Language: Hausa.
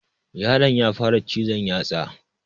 Yaron ya fara cizon yatsa